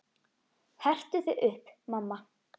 Hertu þig upp, mamma.